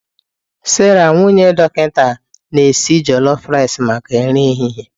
Sarah nwunye dọkịta na-esi jolof ricei maka nri ehihie.